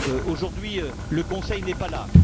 Aujourd'hui, le Conseil n'est pas là.